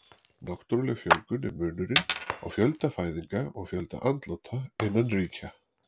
Náttúruleg fjölgun er munurinn á fjölda fæðinga og fjölda andláta innan ríkja.